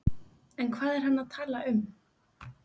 En hvað er hann að tala um?